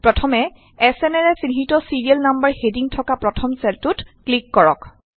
প্ৰথমে এচ এনৰে চিহ্নিত ছিৰিয়েল নাম্বাৰৰ হেডিং থকা প্ৰথম চেলটোত ক্লিক কৰক